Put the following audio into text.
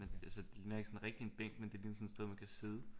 Altså det ligner ikke sådan rigtig en bænk men det ligner sådan et sted man kan sidde